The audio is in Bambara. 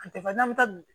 An tɛ fɛn n'an bɛ taa dun